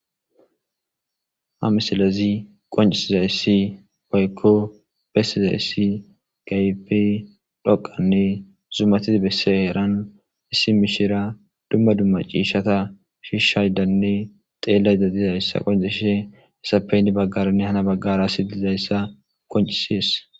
Ha misilez qoncisizays woyko besizays keehippe dhqanne zumatid besiza heran issi mishira dumma dumma ciishata dhishaydanne xelayda dizaysa qonciseshe izappe hen bagara nne han bagara ass dizaysa qoncises.